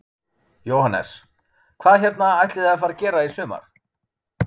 Jóhannes: Hvað hérna ætlið þið að fara að gera í sumar?